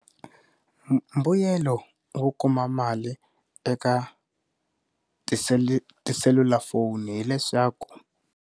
Mbuyelo wo kuma mali eka tiseli tiselulafoni hileswaku.